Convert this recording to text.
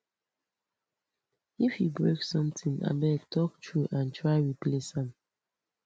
if you break something abeg talk true and try replace am